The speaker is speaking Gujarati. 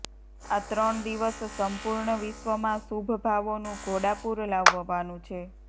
આ ત્રણ દિવસ સંપૂર્ણ વિશ્વમાં શુભભાવોનું ઘોડાપૂર લાવવાનું છે